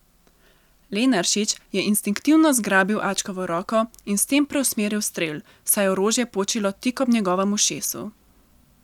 Lenaršič je instinktivno zgrabil Ačkovo roko in s tem preusmeril strel, saj je orožje počilo tik ob njegovem ušesu.